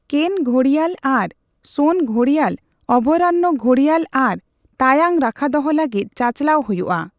ᱠᱮᱱᱼᱜᱷᱚᱲᱤᱭᱟᱞ ᱟᱨ ᱥᱳᱱᱼᱜᱷᱚᱲᱤᱭᱟᱞ ᱚᱵᱷᱚᱭᱟᱨᱚᱱᱱᱚ ᱜᱷᱚᱲᱤᱭᱟᱞ ᱟᱨ ᱛᱟᱭᱟᱝ ᱨᱟᱠᱷᱟᱫᱚᱦᱚ ᱞᱟᱹᱜᱤᱫ ᱪᱟᱪᱟᱞᱟᱣ ᱦᱩᱭᱩᱜᱼᱟ ᱾